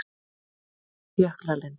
Jöklalind